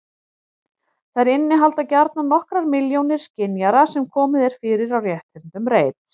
Þær innihalda gjarnan nokkrar milljónir skynjara sem komið er fyrir á rétthyrndum reit.